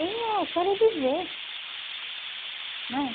E eu quero é viver né.